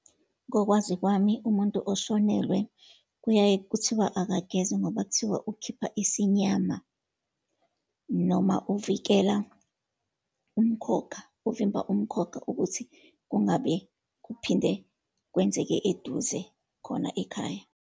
Ngokwazi kwami umuntu oshonelwe, kuyaye kuthiwa akageze, ngoba kuthiwa ukhipha isinyama, noma uvikela umkhokha, uvimba umkhokha ukuthi kungabe kuphinde kwenzeke eduze khona ekhaya.